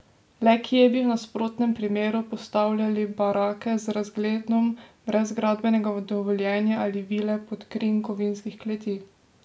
Le kje bi v nasprotnem primeru postavljali barake z razgledom brez gradbenega dovoljenja ali vile pod krinko vinskih kleti?